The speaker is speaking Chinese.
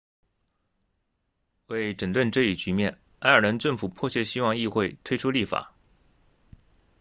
为整顿这一局面爱尔兰政府迫切希望议会推出立法